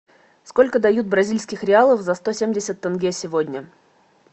сколько дают бразильских реалов за сто семьдесят тенге сегодня